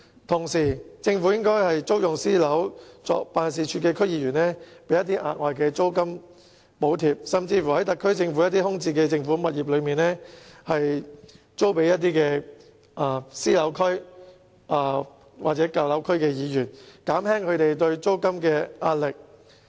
同時，政府應該為租用私人物業作辦事處的區議員提供額外租金補貼，甚至將特區政府空置的政府物業租予私樓區或舊樓區的區議員，以減輕他們的租金壓力。